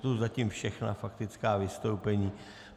To jsou zatím všechna faktická vystoupení.